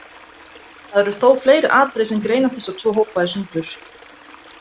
Það eru þó fleiri atriði sem greina þessa tvo hópa í sundur.